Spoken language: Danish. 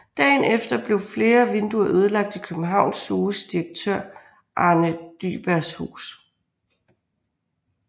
Dagen efter blev flere vinduer ødelagt i København Zoos direktør Arne Dyhrbergs hus